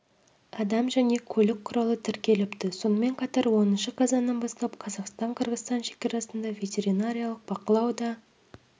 адам және көлік құралы тіркеліпті сонымен қатар оныншы қазаннан бастап қазақстан-қырғызстан шекарасында ветеринарлық бақылау да